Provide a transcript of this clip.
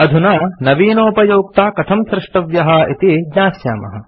अधुना नवीनोपयोक्ता कथं स्रष्टव्यः इति ज्ञास्यामः